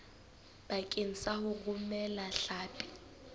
bakeng sa ho romela hlapi